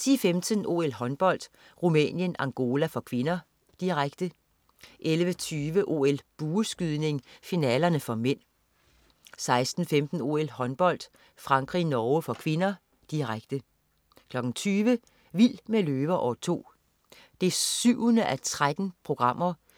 10.15 OL: Håndbold. Rumænien-Angola (k), direkte 11.20 OL: Bueskydning, finaler (m) 16.15 OL: Håndbold. Frankrig-Norge (k), direkte 20.00 Vild med løver. År 2. 7:13.